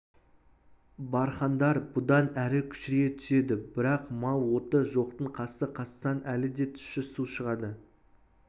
бархандар бұдан әрі кішірейе түседі бірақ мал оты жоқтың қасы қазсаң әлі де тұщы су шығады